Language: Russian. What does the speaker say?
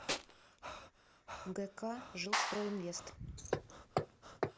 гк жилстройинвест